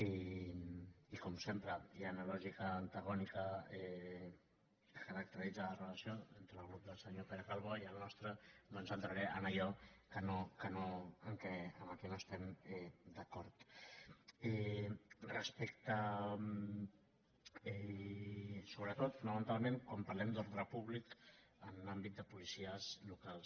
i com sempre i en la lògica antagònica que caracteritza les relacions entre el grup del senyor pere calbó i el nostre doncs entraré en allò en què no estem d’acord sobretot fonamentalment quan parlem d’ordre públic en àmbit de policies locals